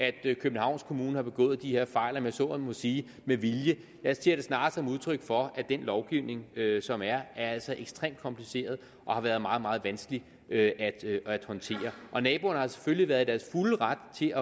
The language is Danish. at københavns kommune har begået de her fejl om man så må sige med vilje jeg ser det snarere som et udtryk for at den lovgivning som er altså er ekstremt kompliceret og har været meget meget vanskelig at håndtere naboerne har selvfølgelig været i deres fulde ret til